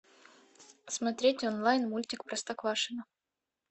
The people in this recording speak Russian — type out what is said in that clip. смотреть онлайн мультик простоквашино